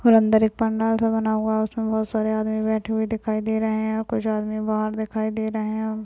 और अंदर एक पंडाल सा बना हुआ है उसमें बहोत सारे आदमी बैठे हुए दिखाई दे रहे हैं और कुछ आदमी बाहर दिखाई दे रहे हैं।